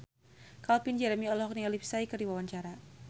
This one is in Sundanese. Calvin Jeremy olohok ningali Psy keur diwawancara